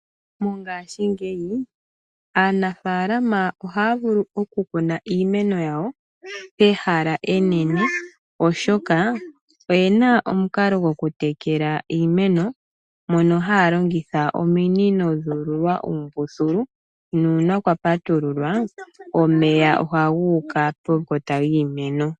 Mongaashingeyi aanafaalama ohaya vulu oku kuna iimeno yawo Pehala enene oshoka . Oyena omukalo goku tekela iimeno mono haya longitha ominino dhuululwa uumbululu . Nuuna kwa patululwa omeya oha guuka pekota lyiimeno.